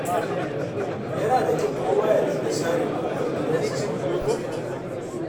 Yana da kyau kowa ya dinga share ƙofar gidansa sau biyu a sati